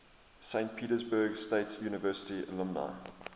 saint petersburg state university alumni